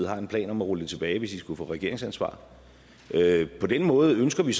har en plan om at rulle det tilbage hvis man skulle få regeringsansvaret på den måde ønsker vi